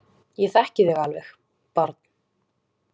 Ég þekki þig alveg, barn.